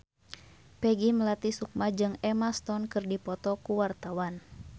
Peggy Melati Sukma jeung Emma Stone keur dipoto ku wartawan